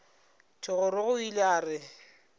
thogorogo o ile a re